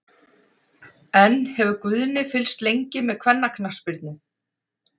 En hefur Guðni fylgst lengi með kvennaknattspyrnu?